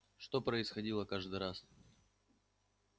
что происходило каждый раз